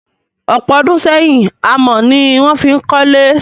Ọ̀pọ̀ ọdún sẹ́yìn, amọ̀ ni a fí n kólé.